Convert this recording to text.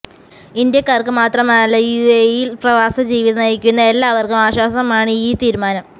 ഇന്ത്യാക്കാർക്ക് മാത്രമലല്ല യുഎയിൽ പ്രവാസ ജീവിതം നയിക്കുന്ന എല്ലാവർക്കും ആശ്വാസമാണ് ഈ തീരുമാനം